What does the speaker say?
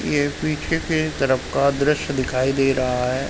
यह पीछे के तरफ का दृश्य दिखाई दे रहा है।